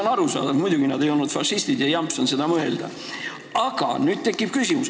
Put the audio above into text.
On arusaadav, et muidugi nad ei olnud fašistid, jamps on seda mõelda.